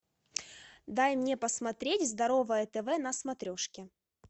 дай мне посмотреть здоровое тв на смотрешке